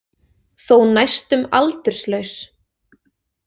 Þó næstum aldurslaus.